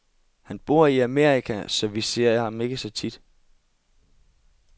Han bor i Amerika, så vi ser ham ikke så tit.